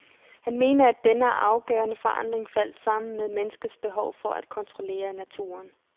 Han mener, at denne afgørende forandring faldt sammen med menneskets behov for at kontrollere naturen.